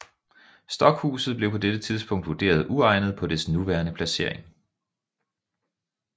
Stokhuset blev på dette tidspunkt vurderet uegnet på dets nuværende placering